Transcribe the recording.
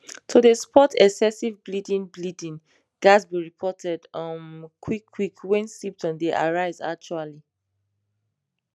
to dey spot excessive bleeding bleeding ghats be reported um quick quick wen symptoms dey arise actually